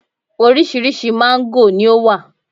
orísirísi mango ni o wa